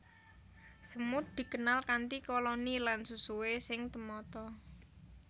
Semut dikenal kanthi koloni lan susuhé sing temata